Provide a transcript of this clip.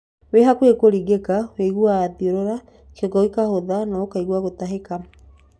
Wĩ hakuhĩ kũringĩka ũiguaga thiũrũra, kĩongo gĩkahũtha na kũigua gũtahĩka.